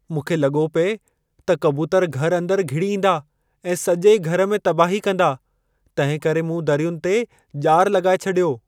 मूंखे लॻो पिए त कबूतर घर अंदरि घिड़ी ईंदा ऐं सॼे घर में तबाही कंदा, तंहिं करे मूं दरियुनि ते ॼारु लॻाए छॾियो।